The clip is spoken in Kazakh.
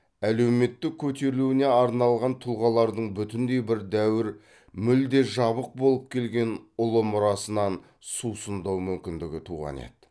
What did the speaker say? әлеуметтік көтерілуіне арнаған тұлғалардың бүтіндей бір дәуір мүлде жабық болып келген ұлы мұрасынан сусындау мүмкіндігі туған еді